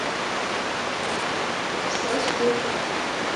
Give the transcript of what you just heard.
сосуд